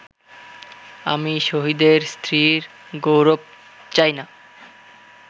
আমি শহীদের স্ত্রীর গৌরব চাই না